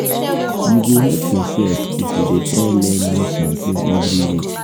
you go help yourself if you dey try learn new something every week.